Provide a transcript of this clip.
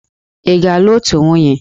Ị ga-alụ otu nwunye!